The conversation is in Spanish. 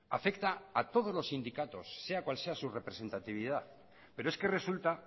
afecta a todos los sindicatos sea cual sea su representatividad pero es que resulta